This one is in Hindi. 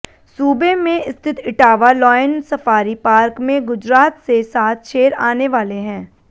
सूबे में स्थित इटावा लॉयन सफारी पार्क में गुजरात से सात शेर आने वाले हैं